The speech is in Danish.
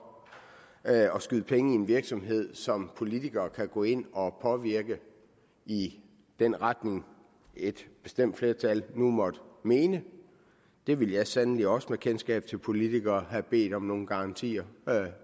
at skyde penge i en virksomhed som politikere kan gå ind og påvirke i den retning et bestemt flertal nu måtte mene det ville jeg sandelig også med mit kendskab til politikere have bedt om nogle garantier